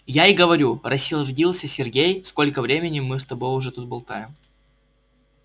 я и говорю рассердился сергей сколько времени мы уже с тобой тут болтаем